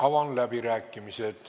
Avan läbirääkimised.